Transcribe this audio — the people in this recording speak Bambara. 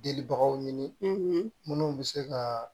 Delibagaw ɲini minnu bɛ se ka